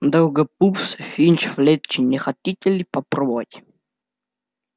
долгопупс финч-флетчли не хотите ли попробовать